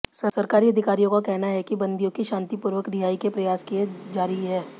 सरकारी अधिकारियों का कहना है कि बंदियों की शांतिपूर्वक रिहाई के प्रयास जारी हैं